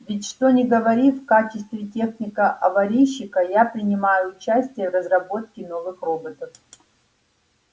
ведь что ни говори в качестве техника-аварийщика я принимаю участие в разработке новых роботов